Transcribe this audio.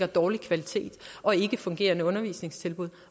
dårlig kvalitet og ikkefungerende undervisningstilbud